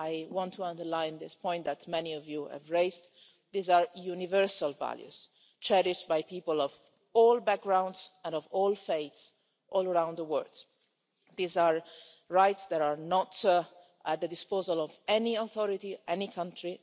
I want to underline this point that many of you have raised these are universal values cherished by people of all backgrounds and of all faiths all around the world. These are rights that are not at the disposal of any authority or any country.